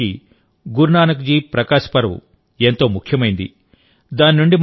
మన విశ్వాసానికి గురునానక్ జీ ప్రకాశ్ పర్వ్ ఎంతో ముఖ్యమైంది